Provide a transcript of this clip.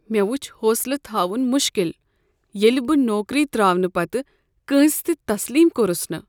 مےٚ وُچھ حوصلہٕ تھاون مُشکل ییٚلہ بہٕ نوکری ترٛاوٕنہٕ پتٕہ کٲنٛسہ تہِ تسلیم کوٚرس نہٕ۔